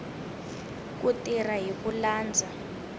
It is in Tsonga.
ku tirha hi ku landza